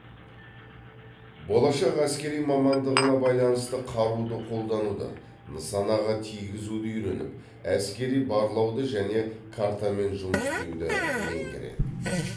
болашақ әскери мамандығына байланысты қаруды қолдануды нысанаға тигізуді үйреніп әскери барлауды және картамен жұмыс істеуді меңгереді